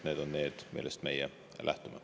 See on see, millest meie lähtume.